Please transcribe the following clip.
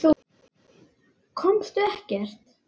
Komust ekkert.